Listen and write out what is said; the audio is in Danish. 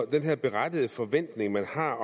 den her berettigede forventning man har